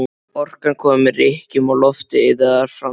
Orkan kom með rykkjum og loftið iðaði af framtíð.